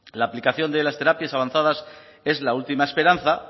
la aplicación de las terapias avanzadas es la última esperanza